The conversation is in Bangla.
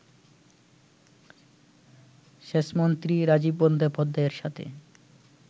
সেচমন্ত্রী রাজীব বন্দ্যোপাধ্যায়ের সাথে